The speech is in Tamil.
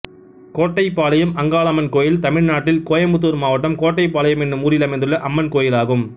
கோட்டைபாளையம் அங்காளம்மன் கோயில் தமிழ்நாட்டில் கோயம்புத்தூர் மாவட்டம் கோட்டைபாளையம் என்னும் ஊரில் அமைந்துள்ள அம்மன் கோயிலாகும்